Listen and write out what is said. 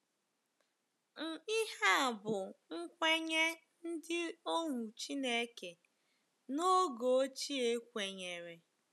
Ihe a bụ́ nkwenye ndị ohu Chineke n’oge ochie kwenyere.